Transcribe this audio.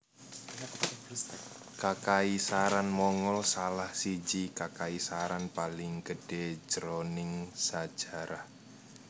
Kakaisaran Mongol salah siji kakaisaran paling gedhé jroning sajarah